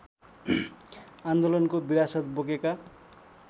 आन्दोलनको विरासत बोकेका